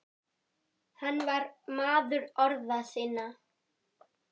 Hann var maður orða sinna.